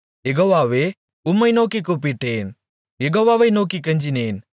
யெகோவாவே உம்மை நோக்கிக் கூப்பிட்டேன் யெகோவாவை நோக்கிக் கெஞ்சினேன்